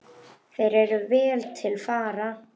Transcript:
Þeir eru vel til fara.